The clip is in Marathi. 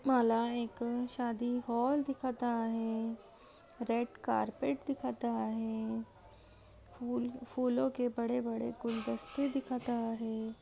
माला एक शादी हॉल दिखत आहे रेड कार्पेट दिखत आहे. फूल फूलों के बड़े बड़े गुलदस्ते दिखत आहे.